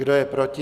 Kdo je proti?